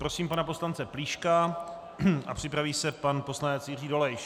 Prosím pana poslance Plíška a připraví se pan poslanec Jiří Dolejš.